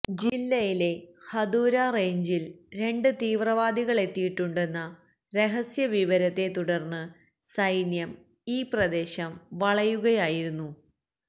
ജില്ലയിലെ ഹദൂര റെയിഞ്ചില് രണ്ട് തീവ്രവാദികളെത്തിയിട്ടുണ്ടെന്ന രഹസ്യ വിവരത്തെ തുടര്ന്ന് സൈന്യം ഈ പ്രദേശം വളയുകയായിരുന്നു